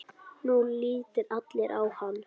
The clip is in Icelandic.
Nú litu allir á hann.